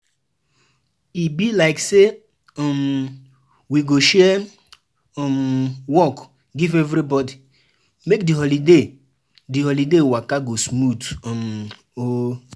E be like say um we go share um work give everybody, make di holiday di holiday waka go smooth um oo